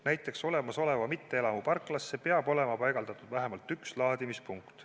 Näiteks, olemasoleva mitteelamu parklasse peab olema paigaldatud vähemalt üks laadimispunkt.